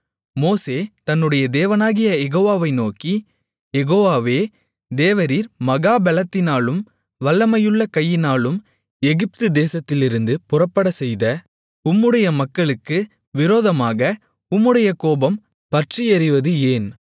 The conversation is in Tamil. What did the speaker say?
மோசே தன்னுடைய தேவனாகிய யெகோவாவை நோக்கி யெகோவாவே தேவரீர் மகா பெலத்தினாலும் வல்லமையுள்ள கையினாலும் எகிப்து தேசத்திலிருந்து புறப்படச்செய்த உம்முடைய மக்களுக்கு விரோதமாக உம்முடைய கோபம் பற்றியெரிவது ஏன்